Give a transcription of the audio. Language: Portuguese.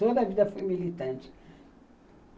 Toda a vida fui militante.